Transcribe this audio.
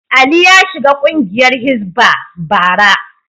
Ali ya shiga kungiyar Hisbah, bara.